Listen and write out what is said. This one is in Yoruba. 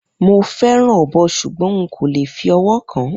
Mo fẹràn ọbọ sugbọn hun kole fi ọwọ kan.